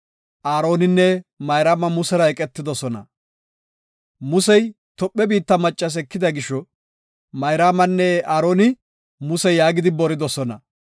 Musey Tophe biitta maccas ekida gisho, Mayraamanne Aaroni Muse yaagidi boridosona.